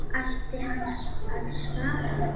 Ætti hann að svara?